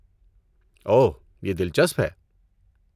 اوہ، یہ دلچسپ ہے۔